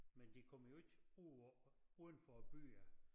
Men de kommer jo ikke ud på udenfor æ byer